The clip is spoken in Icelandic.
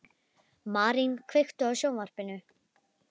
Marín, kveiktu á sjónvarpinu.